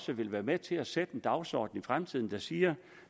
vil være med til at sætte en dagsorden i fremtiden der siger